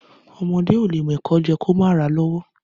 Ọmọdẹ ọlẹ mẹkọ jẹ kò mà rà lówò